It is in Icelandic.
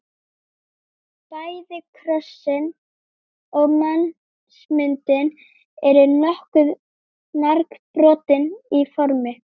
Bæði krossinn og mannsmyndin eru nokkuð margbrotin í formi.